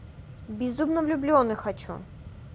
безумно влюбленный хочу